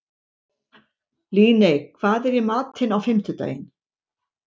Líney, hvað er í matinn á fimmtudaginn?